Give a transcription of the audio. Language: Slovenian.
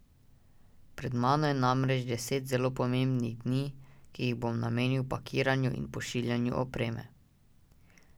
Pred mano je namreč deset zelo pomembnih dni, ki jih bom namenil pakiranju in pošiljanju opreme.